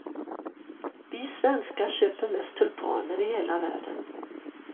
Vi svenska köper mest tulpaner i hela världen.